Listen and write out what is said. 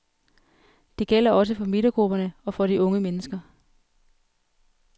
Det gælder også for midtergrupperne, og for de unge mennesker.